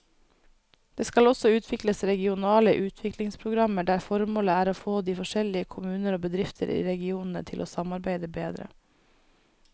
Det skal også utvikles regionale utviklingsprogrammer der formålet er å få de forskjellige kommuner og bedrifter i regionene til å samarbeide bedre.